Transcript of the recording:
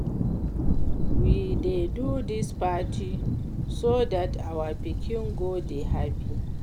We dey do dis party so dat our pikin go dey happy